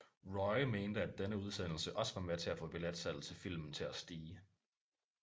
Roy mente at denne udsendelse også var med til at få billetsalget til filmen til at stige